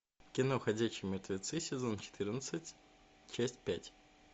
кино ходячие мертвецы сезон четырнадцать часть пять